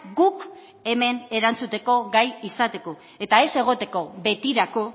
guk hemen erantzuteko gai izateko eta ez egoteko betirako